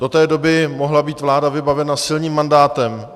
Do té doby mohla být vláda vybavena silným mandátem.